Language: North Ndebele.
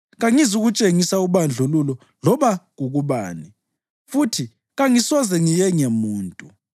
Kangizukutshengisa ubandlululo loba kukubani, futhi kangisoze ngiyenge muntu;